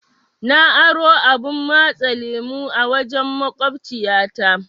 Na aro abun matsa lemu a wajen maƙociya ta.